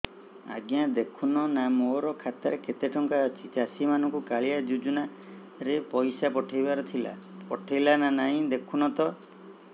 ଆଜ୍ଞା ଦେଖୁନ ନା ମୋର ଖାତାରେ କେତେ ଟଙ୍କା ଅଛି ଚାଷୀ ମାନଙ୍କୁ କାଳିଆ ଯୁଜୁନା ରେ ପଇସା ପଠେଇବାର ଥିଲା ପଠେଇଲା ନା ନାଇଁ ଦେଖୁନ ତ